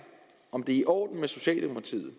om det er i orden med socialdemokratiet